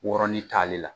Wɔrɔnin t'ale la